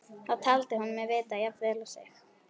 Það taldi hún mig vita jafn vel og sig.